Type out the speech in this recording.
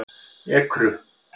Ekru